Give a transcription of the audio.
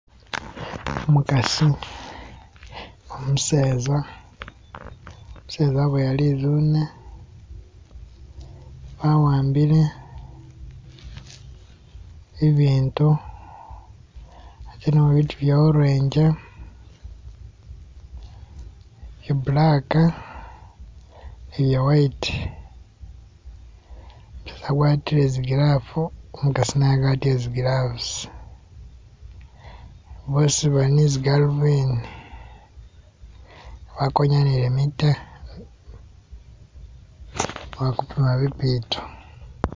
Umukasi, umuseza, umuseza aboya lizune awambile ibiintu atelemo biitu bye orangi, bye black ni bye white umuseza agwatile zi glove umukasi naye agwatile zi gloves boosi bali ni zigalobindi bakonyanile mitwe bali kupima bibitu.